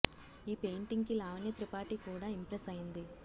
ఈ పెయింటింగ్ కి లావణ్య త్రిపాఠి కూడా ఇంప్రెస్ అయింది